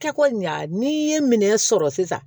Kɛko ɲa n'i ye minɛn sɔrɔ sisan